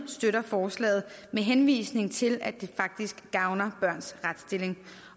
støtter forslaget med henvisning til at det faktisk gavner børns retsstilling